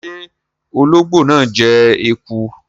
Ṣe ologbo naa jẹ eku?